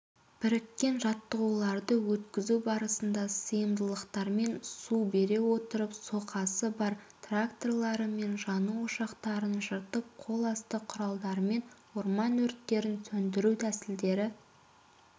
біріккен жаттығуларды өткізу барысында сыйымдылықтармен су бере отырып соқасы бар тракторымен жану ошақтарын жыртып қол асты құралдармен орман өрттерін сөндіру тәсілдері